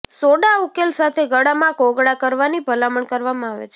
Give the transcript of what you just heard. soda ઉકેલ સાથે ગળામાં કોગળા કરવાની ભલામણ કરવામાં આવે છે